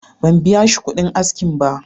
Ban biya shi kuɗin askinsa ba.